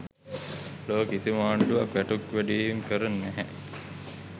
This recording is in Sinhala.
ලොව කිසිම ආණ්ඩුවක් වැටුප් වැඩිවීම් කර නැහැ.